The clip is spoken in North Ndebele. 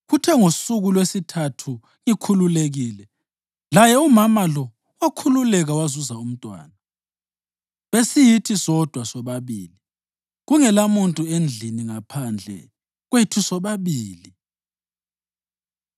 Kuthe ngosuku lwesithathu ngikhululekile laye umama lo wakhululeka wazuza umntwana. Besiyithi sodwa sobabili, kungelamuntu endlini ngaphandle kwethu sobabili.